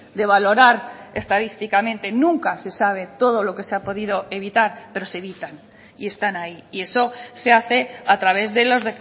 de valorar estadísticamente nunca se sabe todo lo que se ha podido evitar pero se evitan y están ahí y eso se hace a través de los